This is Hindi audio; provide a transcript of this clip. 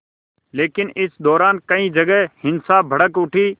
लेकिन इस दौरान कई जगह हिंसा भड़क उठी